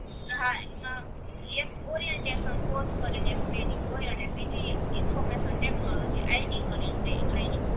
હા એમાં એક ઓરિયનટેસન કોર્સ કરીને ટ્રેનિંગ હોય અને બીજી ઇન્ફોરમેસન ટેકનોલોજી IT કરીને ટ્રે ટ્રેનિંગ